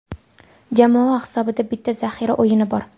Jamoa hisobida bitta zaxira o‘yini bor.